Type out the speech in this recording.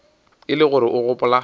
e le gore o gopola